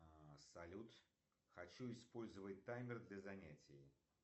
салют хочу использовать таймер для занятий